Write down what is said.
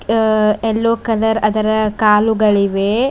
ಆ yellow colour ಅದರ ಕಾಲುಗಳಿವೆ.